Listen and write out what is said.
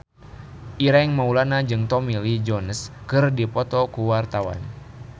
Ireng Maulana jeung Tommy Lee Jones keur dipoto ku wartawan